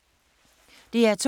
DR2